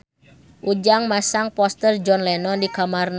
Ujang masang poster John Lennon di kamarna